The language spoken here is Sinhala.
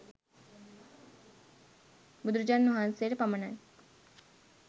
බුදුරජාණන් වහන්සේට පමණයි.